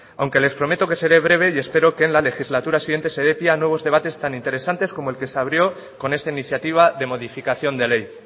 aunque les prometo que seré breve y espero que en la legislatura siguiente se dé pie a nuevos debates tan interesantes como el que se abrió con esta iniciativa de modificación de ley